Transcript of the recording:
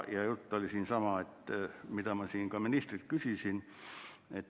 Jutt oli siin sama, mida ma ka ministrilt küsisin.